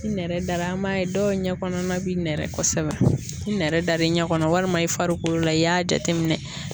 Ni nɛrɛ dara an b'a ye dɔw ɲɛ kɔnɔna bi nɛrɛ kɔsɛbɛ n nɛrɛ dara i ɲɛ kɔnɔ walima i farikolo la i y'a jateminɛ